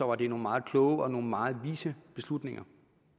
var det nogle meget kloge og nogle meget vise beslutninger